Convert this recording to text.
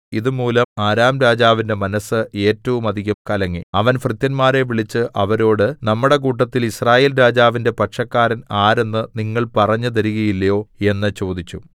ഇത് മൂലം അരാം രാജാവിന്റെ മനസ്സ് ഏറ്റവും അധികം കലങ്ങി അവൻ ഭൃത്യന്മാരെ വിളിച്ച് അവരോട് നമ്മുടെ കൂട്ടത്തിൽ യിസ്രായേൽ രാജാവിന്റെ പക്ഷക്കാരൻ ആരെന്ന് നിങ്ങൾ പറഞ്ഞു തരികയില്ലയോ എന്ന് ചോദിച്ചു